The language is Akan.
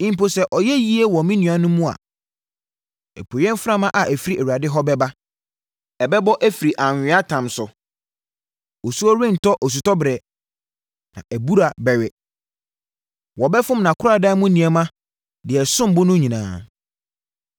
mpo sɛ ɔyɛ yie wɔ ne nuanom mu a. Apueeɛ mframa a ɛfiri Awurade hɔ bɛba, ɛbɛbɔ afiri anweatam so; osuo rentɔ osutɔberɛ na nʼabura bɛwe. Wɔbɛfom nʼakoradan mu nneɛma deɛ ɛsom bo no nyinaa.